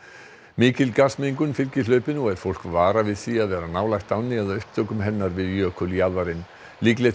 mikil fylgir hlaupinu og er fólk varað við því að vera nálægt ánni eða upptökum hennar við jökuljaðarinn líklegt